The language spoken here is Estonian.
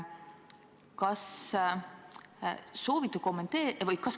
Hea ettekandja!